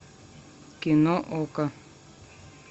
кино окко